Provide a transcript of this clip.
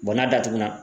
n'a datugulan